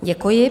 Děkuji.